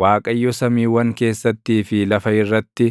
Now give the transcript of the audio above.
Waaqayyo samiiwwan keessattii fi lafa irratti,